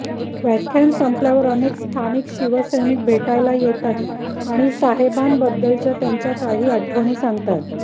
व्याख्यान संपल्यावर अनेक स्थानिक शिवसैनिक भेटायला येतात आणि साहेबांबद्दलच्या त्यांच्या काही आठवणी सांगतात